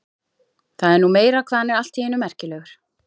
Það er nú meira hvað hann er allt í einu merkilegur.